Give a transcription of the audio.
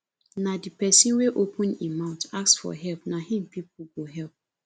na de pesin wey open im mouth ask for help na im pipo go help